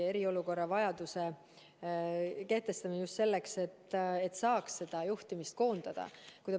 Eriolukord oli vajalik kehtestada just selleks, et saaks kriisi juhtimist koondada.